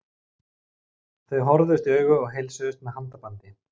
Þau horfðust í augu og heilsuðust með handabandi.